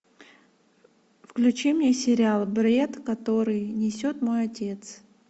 включи мне сериал бред который несет мой отец